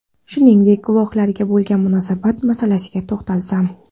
Shuningdek, guvohlarga bo‘lgan munosabat masalasiga to‘xtalsam.